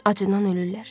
Acından ölürlər.